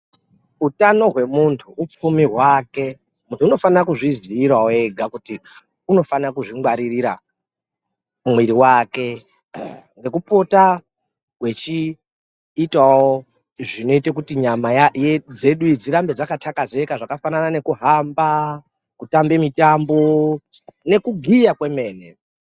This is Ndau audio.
Utano hwemunhu upfumi hwake. Munhu unofanire kuzviziirawo ega kuti kuti unofanire kuzvingwaririta mwiri wake ngekupota eiita zvinoite kuti nyama dzedu dzinedzi dzigare dzakathekezeka zvakafanana ngekuhamba, kutamba mitambo nekugiya kwemene.